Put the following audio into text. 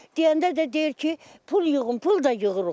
Deyəndə də deyir ki, pul yığın, pul da yığırıq.